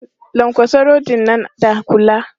Lankwatsa rodin nan da kula!